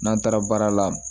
N'an taara baara la